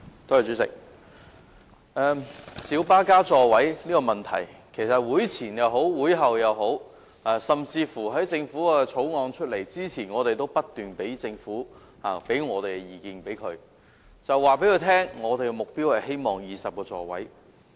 主席，就小巴增加座位的問題，其實無論在會前或會後，甚至在政府提交《2017年道路交通條例草案》前，我們不斷向政府表達意見，告訴政府我們的目標是希望增至20個座位。